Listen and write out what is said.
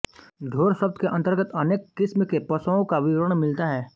ढोर शब्द के अंतर्गत अनेक किस्म के पशओं क विवरण मिलता है